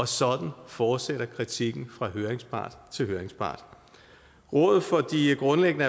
sådan fortsætter kritikken fra høringspart til høringspart rådet for de grundlæggende